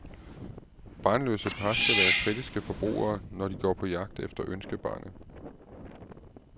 Barnløse par skal være kritiske forbrugere når de går på jagt efter ønskebarnet.